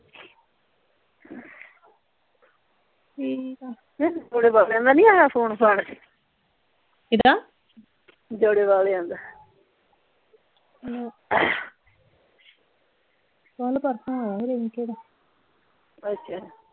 ਠੀਕ ਆ ਜੌੜੇ ਵਾਲਿਆਂ ਦਾ ਨਹੀਂ ਆਇਆ ਫ਼ੋਨ ਫਾਨ ਕਿੱਦਾਂ ਜੌੜੇ ਵਾਲਿਆਂ ਦਾ ਕੱਲ ਪਰਸੋਂ ਆਇਆ ਸੀ ਰਿੰਕੇ ਦਾ ਅੱਛਾ